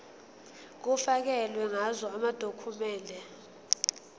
kufakelwe ngazo amadokhumende